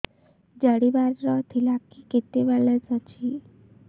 ଜାଣିବାର ଥିଲା କି କେତେ ବାଲାନ୍ସ ଅଛି